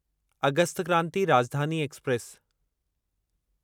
August Kranti Rajdhani express